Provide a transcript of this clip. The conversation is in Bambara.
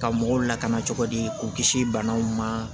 Ka mɔgɔw lakana cogo di k'u kisi banaw ma